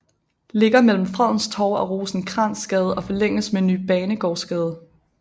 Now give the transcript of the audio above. Ligger mellem Fredens Torv og Rosenkrantzgade og forlænges med Ny Banegårdsgade